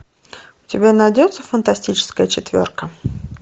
у тебя найдется фантастическая четверка